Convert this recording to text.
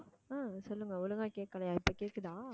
ஆஹ் சொல்லுங்க ஒழுங்கா கேக்கலையா இப்ப கேக்குதா